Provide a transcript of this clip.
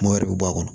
Mɔ wɛrɛ bɛ bɔ a kɔnɔ